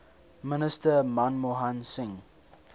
minister manmohan singh